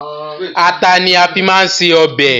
Ata ni a máa fi ń se ọbẹ̀